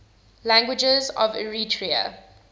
languages of eritrea